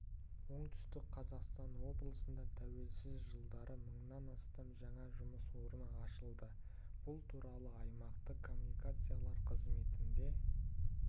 оңтүстік қазақстан облысында тәуелсіздік жылдары мыңнан астам жаңа жұмыс орны ашылды бұл туралы аймақтық коммуникациялар қызметінде